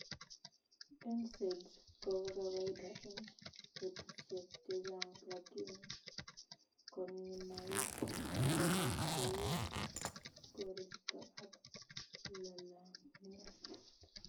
Nsaids kopo kawaida eng betusiek chechang lakini koninaik kopo keut, koristo ak lalangiet